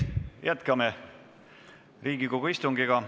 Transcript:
Jätkame Riigikogu istungit.